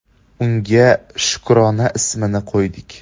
Unga Shukrona ismini qo‘ydik.